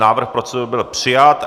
Návrh procedury byl přijat.